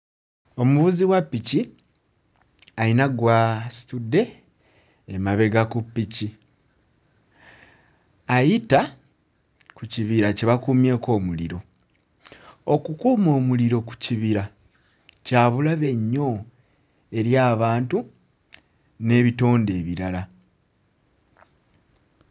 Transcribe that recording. Omuvuzi wa ppiki ayina gw'asitudde emabega ku ppiki ayita ku kibira kye bakumyeko omuliro, okukuma omuliro ku kibira kya bulabe nnyo eri abantu n'ebitonde ebirala.